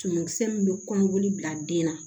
Tumumisɛn min bɛ kɔnɔboli bila den na